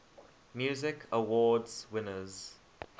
music awards winners